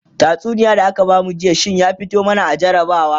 tatsuniyar da aka bamu jiya shinya fito mana a jarabawa